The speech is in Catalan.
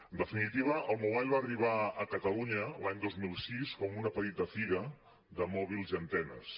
en definitiva el mobile va arribar a catalunya l’any dos mil sis com una petita fira de mòbils i antenes